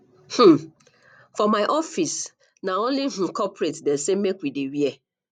um for my office na only um corporate dem sey make we dey wear